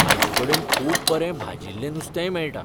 तांचेकडेन खूब बरें भाजिल्लें नुस्तेय मेळटा.